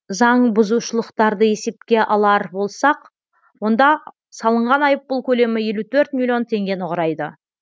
заңбұзушылықтарды есепке алар болсақ онда салынған айыппұл көлемі елу төрт миллион теңгені құрайды